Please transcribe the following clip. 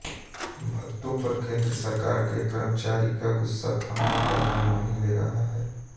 भत्तों पर केन्द्र सरकार के कर्मचारियों का गुस्सा थमने का नाम नहीं ले रहा है